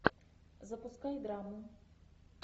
запускай драму